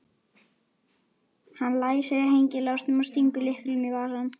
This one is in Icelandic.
Hann læsir hengilásnum og stingur lyklinum í vasann.